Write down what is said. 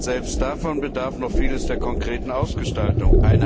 Selbst davon bedarf noch vieles der konkreten Ausgestaltung.